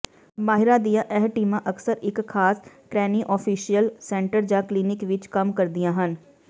ਮਾਹਿਰਾਂ ਦੀਆਂ ਇਹ ਟੀਮਾਂ ਅਕਸਰ ਇੱਕ ਖਾਸ ਕ੍ਰੈਨੀਓਫੈਸ਼ਲ ਸੈਂਟਰ ਜਾਂ ਕਲੀਨਿਕ ਵਿੱਚ ਕੰਮ ਕਰਦੀਆਂ ਹਨ